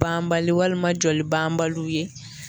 Banbali walima jolibanbali ye